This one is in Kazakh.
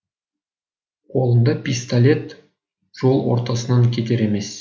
қолында пистолет жол ортасынан кетер емес